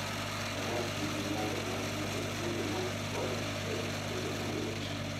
Faras nigi nyalo mar ng'ado kuonde ma korgi tek e yo mayot.